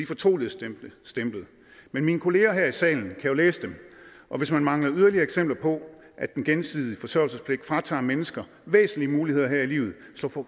fortroligstemplet men mine kolleger her i salen kan jo læse dem og hvis man mangler yderligere eksempler på at den gensidige forsørgerpligt fratager mennesker væsentlige muligheder her i livet